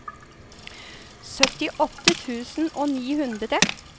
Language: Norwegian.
syttiåtte tusen og ni hundre